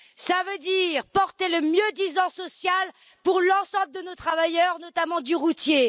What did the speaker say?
Ça veut dire porter le mieux disant social pour l'ensemble de nos travailleurs, notamment du routier.